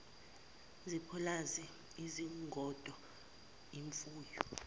zepulazi izingodo imfuyo